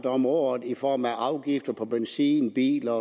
om året i form af afgifter på benzin biler